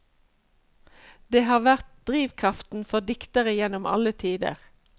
Det har vært drivkraften for diktere gjennom alle tider.